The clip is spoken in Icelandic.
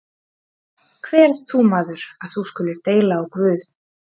Hver ert þú, maður, að þú skulir deila á Guð?